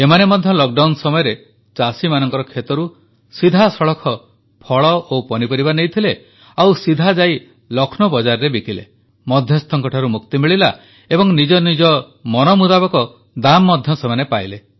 ଏମାନେ ମଧ୍ୟ ଲକଡାଉନ ସମୟରେ ଚାଷୀମାନଙ୍କର ଖେତରୁ ସିଧାସଳଖ ଫଳ ଓ ପନିପରିବା ନେଇଥିଲେ ଓ ସିଧାଯାଇ ଲକ୍ଷ୍ନୌ ବଜାରରେ ବିକିଲେ ମଧ୍ୟସ୍ଥଙ୍କଠାରୁ ମୁକ୍ତି ମିଳିଲା ଏବଂ ନିଜ ମନ ମୁତାବକ ଦାମ୍ ମଧ୍ୟ ସେମାନେ ପାଇଲେ